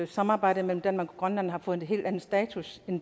samarbejde mellem danmark og grønland har fået en helt anden status end